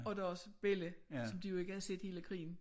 Og deres bella som de jo ikke havde set hele krigen